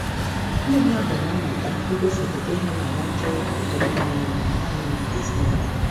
Ndị mmadụ na-amụta igosipụta ịhụnanya achọghị ọdịmma onwe onye nanị maka ezinụlọ ha.